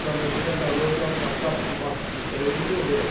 Já mandei a garota passar por debaixo do trem e correr.